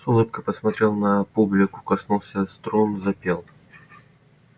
с улыбкой посмотрел на публику коснулся струн запел